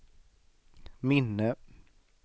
minne